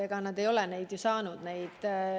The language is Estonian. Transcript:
Ega nad ei ole ju seda saanud.